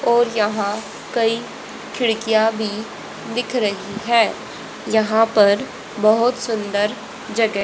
और यहां कई खिड़कियां भी दिख रही है यहां पर बहोत सुंदर जगह --